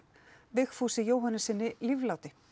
Vigfúsi Jóhannessyni lífláti